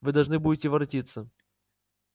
вы должны будете воротиться